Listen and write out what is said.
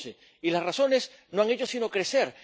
2011. Y las razones no han hecho sino crecer.